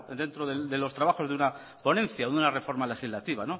dentro de los trabajos de una ponencia de una reforma legislativa